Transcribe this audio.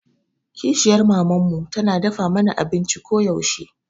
Kishiyar maman mu tana dafa mana abinci koyaushe.